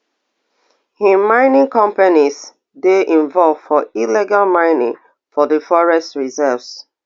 im mining companies dey involve for illegal mining for di forest reserves